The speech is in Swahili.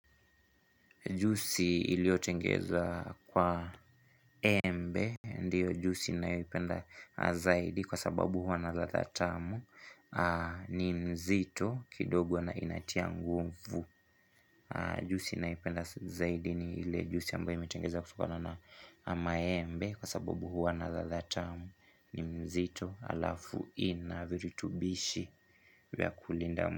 Jusi iliotengeza kwa embe, ndiyo jusi naipenda zaidi kwa sababu huwa na ladha tamu ni mzito kidogo na inatia ngunfu. Jusi naipenda zaidi ni ile jusi ambaye imetengeza kutokana na maembe kwa sababu huwa na ladha tamu ni mzito alafu ina virutubishi.